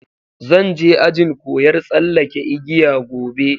Zanje ajin koyar tsalake igiya Gobe.